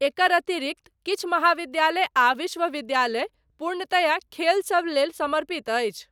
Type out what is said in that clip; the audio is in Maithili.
एकर अतिरिक्त, किछु महाविद्यालय आ विश्वविद्यालय, पूर्णतया, खेल सब लेल समर्पित अछि।